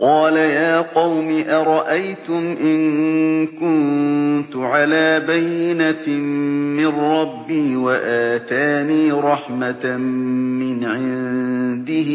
قَالَ يَا قَوْمِ أَرَأَيْتُمْ إِن كُنتُ عَلَىٰ بَيِّنَةٍ مِّن رَّبِّي وَآتَانِي رَحْمَةً مِّنْ عِندِهِ